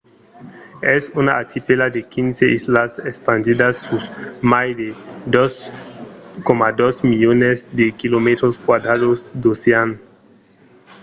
es una archipèla de 15 islas espandidas sus mai de 2,2 milions de km² d’ocean